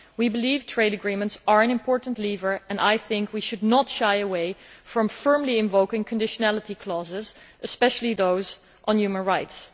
We believe trade agreements are an important lever and I think we should not shy away from firmly invoking conditionality clauses, especially those on human rights.